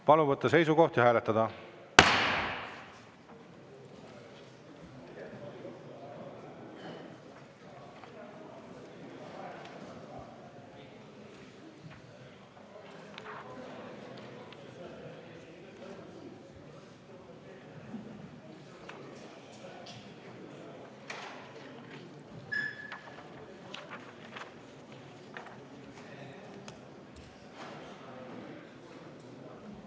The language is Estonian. Palun võtta seisukoht ja hääletada!